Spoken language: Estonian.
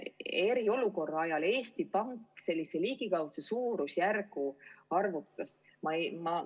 Eriolukorra ajal Eesti Pank ligikaudse suurusjärgu arvutas.